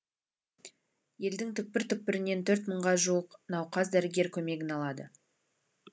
елдің түкпір түкпірінен т рт мыңға жуық науқас дәрігер көмегін алады